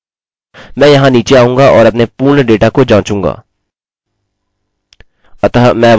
repeat password को छोड़कर यदि मैं फिर से वैल्यू चुनता हूँ हमें अभी भी यह एरर मिलती है